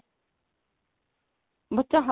ਬੱਚਾ